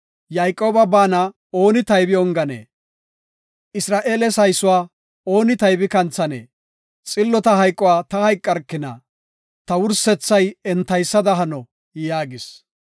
Yayqooba baana ooni taybi onganee? Isra7eele saysuwa ooni taybi kanthanee? Xillota hayquwa ta hayqarkina; ta wursethay entaysada hano” yaagis.